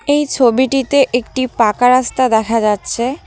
এই ছবিটিতে একটি পাকা রাস্তা দেখা যাচ্ছে।